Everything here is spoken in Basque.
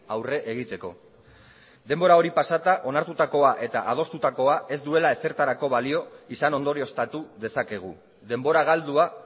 aurre egiteko denbora hori pasata onartutakoa eta adostutakoa ez duela ezertarako balio izan ondorioztatu dezakegu denbora galdua